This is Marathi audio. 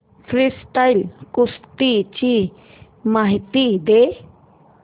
फ्रीस्टाईल कुस्ती ची माहिती दे